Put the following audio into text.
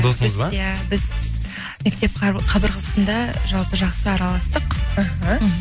досыңыз ба иә біз мектеп қабырғасында жалпы жақсы араластық іхі мхм